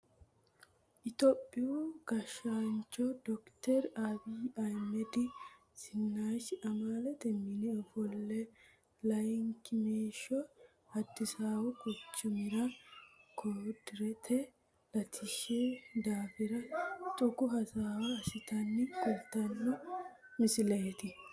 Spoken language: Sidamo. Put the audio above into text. Tophiyuu gashanch dokiteri abiyinna baaba zinaashi amalete mine ofole layinkimeesho adisaawu quchumira koriderete latishi daafira xuku hasawa asinotta kulitano misileeti